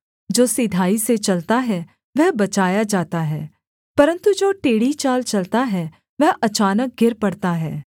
जो सिधाई से चलता है वह बचाया जाता है परन्तु जो टेढ़ी चाल चलता है वह अचानक गिर पड़ता है